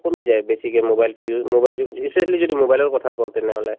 কমি যায় বেছিকে mobile তো u mobile তো recently যদি mobile ৰ কথা কওঁ তেনেহলে